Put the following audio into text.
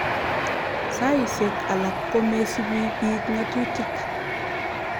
Saisyek alak komesupi piik ng'atutik.